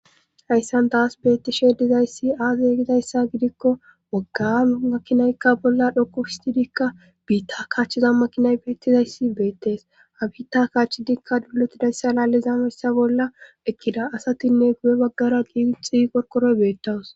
Hayssan taas beettishe dizayssi aaze egidayssa gidikko wagga makkinaykka bolla dhoku histidikka biitta kaachchiza makinay beettizayssi beettees habita kaachchidikka dulotidayssa laalliza mayssa bolla ekkida asatinne gu7e baggara diiixi korkoroy beettawus